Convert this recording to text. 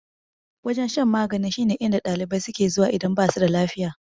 Wajen shan magani shine inda ɗalibai suke zuwa idan basu da lafiya.